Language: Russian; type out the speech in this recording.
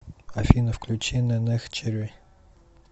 афина включи нэнэх черри